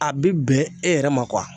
A be bɛn e yɛrɛ ma kuwa